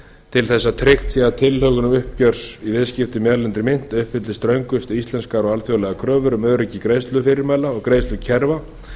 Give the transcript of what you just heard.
til þess að tryggt sé að tilhögun uppgjörs á viðskiptum í erlendri mynt uppfylli ströngustu íslenskar og alþjóðlegar kröfur um öryggi greiðslufyrirmæla og greiðslukerfa og